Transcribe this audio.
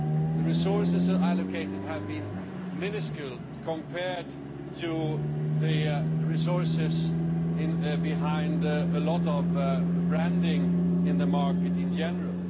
The resources allocated have been minuscule compared to the resources behind a lot of branding in the market in general.